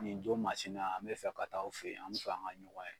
Nin don masina an bɛ fɛ ka taa'w fe ye, an be fɛ an ŋa ɲɔgɔn ye.